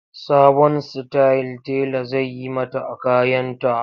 Sabon style tela zai yi mata a kayanta.